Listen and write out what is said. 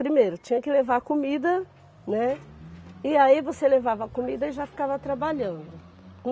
Primeiro tinha que levar a comida, né, e aí você levava a comida e já ficava trabalhando.